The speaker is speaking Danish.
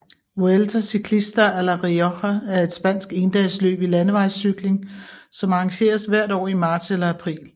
Vuelta Ciclista a La Rioja er et spansk endagsløb i landevejscykling som arrangeres hvert år i marts eller april